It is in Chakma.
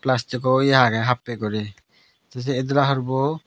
plastico ye agey happey guri tey sei itdola hurbo.